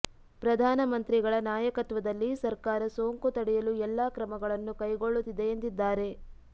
ಪ್ರಧಾನ ಮಂತ್ರಿಗಳ ನಾಯಕತ್ವದಲ್ಲಿ ಸರ್ಕಾರ ಸೋಂಕು ತಡೆಯಲು ಎಲ್ಲಾ ಕ್ರಮಗಳನ್ನು ಕೈಗೊಳ್ಳುತ್ತಿದೆ ಎಂದಿದ್ದಾರೆ